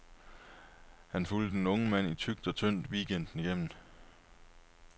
Han fulgte den unge mand i tykt og tyndt weekenden igennem.